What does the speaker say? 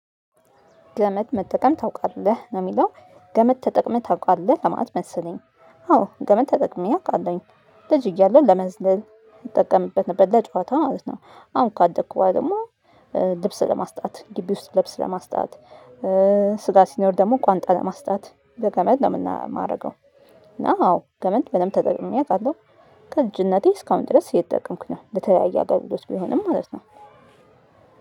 ገመድ መጠቀም ታውቃለህ? ነው የሚለው ገመት ተጠቅመህ ታውቃለህ? ለማት መሰለኝ አዎ ገመት ተጠቅመህ አውቃለሁኝ። ልጅ እያለሁ ለመዝለል እጠቀምበት ነበር ለጨዋታው ማለት ነው። አሁን ካደኩት ደግሞ ልብስ ለማስጣት ግቢ ውስጥ ልብስ ለማስጣት ስጋ ሲኖር ደግሞ ቋንጣ ለማስጣት በገመድ ነው የምናደርገው እና አዎ ገመድ በደንብ ተጠቅሜ አውቃለሁ። ከልጅነቴ እስካሁን ድረስ እየተጠቀምኩ ነው። ለተለያየ አገልግሎት ቢሆንም ማለት ነው።